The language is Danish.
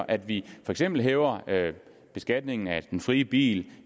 at vi for eksempel hæver beskatningen af den frie bil